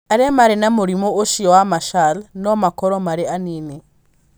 Arĩa marĩ na mũrimũ ũcio wa Marshall no makorũo marĩ anini.